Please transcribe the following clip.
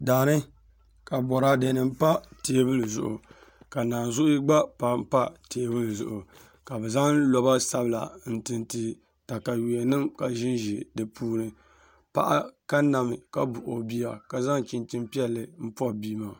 Daani k Boraadɛ nim pa teebuli zuɣu ka naanzuhi gba pa teebuli zuɣu ka bi zaŋ loba sabila n tinti katawiya nim ka ʒinʒi di puuni paɣa kanna mi ka buɣi o bia ka zaŋ chinchin piɛlli poni bia maa